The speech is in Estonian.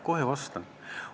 Kohe vastan ka.